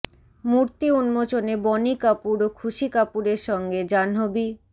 মূর্তি উন্মোচনে বনি কাপুর ও খুশি কাপুরের সঙ্গে জাহ্নবী